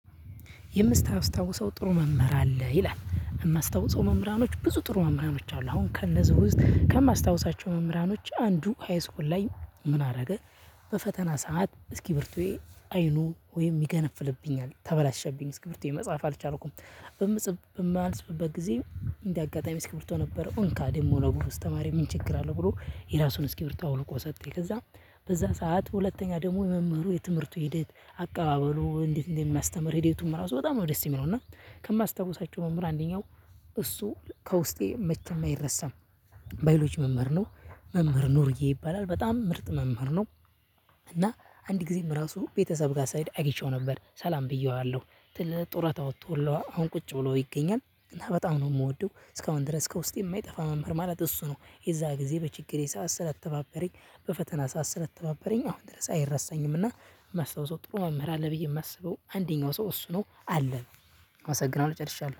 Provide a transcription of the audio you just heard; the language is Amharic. "የምታስታውሰው ጥሩ መምህር አለ?" ይላል፣ የማስታውሰው መምህራኖች ብዙ ጥሩ መምህሮች አሉ አሁን ከነዚህ ውስጥ ከማስታውሳቸው መምህራኖች አንዱ ሃይስኩል ላይ ምን አደረገ በፈተና ሰዓት እስኪቢርቶዬ አይኑ ወይም ሚገነፍልብኛል ተበላሸብኝ እስኪብርቶዬ መጻፍ አልቻልኩም። በምጽፍ በማልጽፍበት ጊዜ እንደ አጋጣሚ እስኪቢርቶ ነበረው እንካ ደሞ ለጎበዝ ተማሪ ምን ችግር አለው ብሎ የራሱን እስኪቢርቶ አውልቆ ሰጠኝ። ከዛ በዛ ሰዓት ሁለተኛ ደግሞ የመምህሩ የትምህርቱ ሂደት አቀባበሉ እንዴት እንደሚያስተምር ሂደቱም ራሱ በጣም ነው ደስ የሚለው እና ከማስታውሳቸው መምህር አንደኛው እሱ ከውስጤ መቼም አይረሳም። ባዮሎጂ መምህር ነው መምህር ኑርዬ ይባላል በጣም ምርጥ መምህር ነው። እና አንድ ጊዜም ራሱ ቤተሰብ ጋር ስሄድ አግኝቼው ነበር ሰላም ብዬዋለሁ። ጥለ ጡረት ወጥቶላ አሁን ቁጭ ብሎ ይገኛል፤ እና በጣም ነው የምወደው። እስካሁን ድረስ ከውስጤ የማይጠፋ መምህር ማለት እሱ ነው። የዛ ጊዜ በችግሬ ሰዓት ስለተባበረኝ በፈተና ሰዓት ስለተባበረኝ አሁን ድረስ አይረሳኝምና የማስታውሰው ጥሩ መምህር አለ ብዬ የማስበው አንደኛው ሰው እሱ ነው አለ። አመሰግናለሁ ጨርሻለሁ።